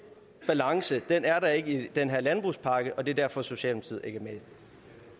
balance er der ikke i den her landbrugspakke og det er derfor at socialdemokratiet med